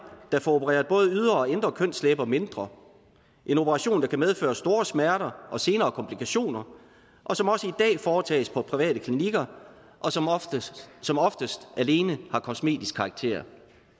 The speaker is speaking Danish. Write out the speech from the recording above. der får opereret både ydre og indre kønslæber mindre en operation der kan medføre store smerter og senere komplikationer og som også i dag foretages på private klinikker og som oftest som oftest alene har kosmetisk karakter